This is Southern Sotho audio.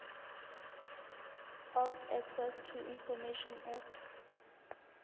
of access to information act